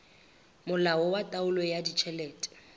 molao wa taolo ya ditjhelete